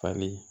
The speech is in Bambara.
Fali